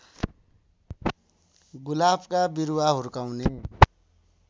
गुलाफका बिरुवा हुर्काउने